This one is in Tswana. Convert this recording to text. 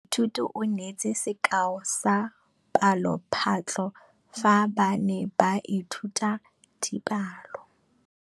Moithuti o neetse sekaô sa palophatlo fa ba ne ba ithuta dipalo.